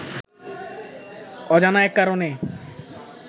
অজানা এক কারণে